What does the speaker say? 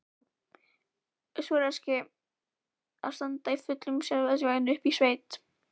Súrrealískt að standa í fullum strætisvagni uppi í sveit!